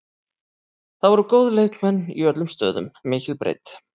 Það voru góðir leikmenn í öllum stöðum, mikil breidd.